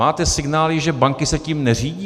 Máte signály, že banky se tím neřídí?